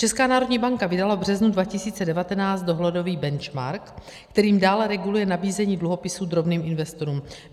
Česká národní banka vydala v březnu 2019 dohledový benchmark, kterým dále reguluje nabízení dluhopisů drobným investorům.